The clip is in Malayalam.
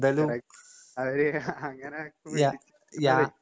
അങ്ങനാ